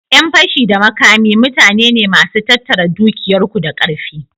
Ƴan fashi da makami mutane ne masu tattara dukiyar ku da karfi.